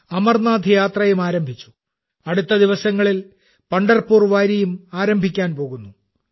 അമർനാഥ് യാത്രയും ആരംഭിച്ചു അടുത്ത ദിവസങ്ങളിൽ പണ്ഡർപൂർ വാരിയും ആരംഭിക്കാൻ പോകുന്നു